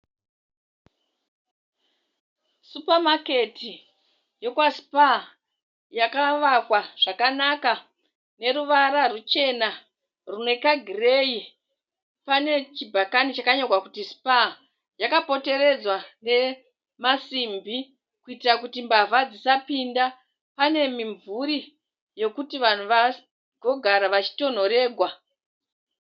Supamaketi yekwaspa yakawakwa zvakanaka neruvara ruchena rune kagirei pane chibhakani chakanyorwa kunzi spa yakapoteredzwa ne masimbi kuitira kuti mbavha dzisapinda pane mimvuri yekuti vanhu vagogara vachitonhoregwa